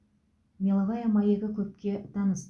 меловая маягі көпке таныс